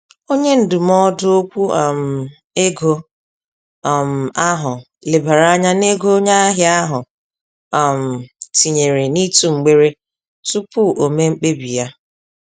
Onye ndụmọdụ ókwú um ego um ahụ lebara ányá n'ego onye ahịa ahụ um tinyere n'ịtụ mgbere, tupu o mee mkpebi yá.